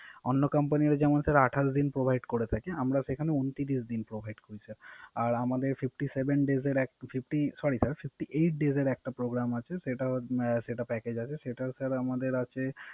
অন্য কোম্পানি যেমন স্যার আঠাশ দিন Provide করে থাকে, আমরা সেখানে ঊনত্রিশ দিন Provide করি Sir । আর আমাদের Fifty eight Days এর একটা Programme আছে, Data package আছে সেটা Sir আমাদের আছে